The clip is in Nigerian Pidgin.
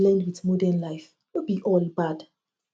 traditional beliefs fit blend wit modern life no be all bad